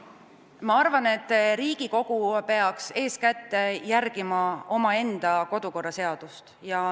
Ma arvan, et Riigikogu peaks eeskätt järgima omaenda kodukorraseadust.